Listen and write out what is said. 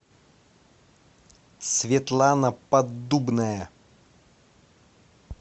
светлана поддубная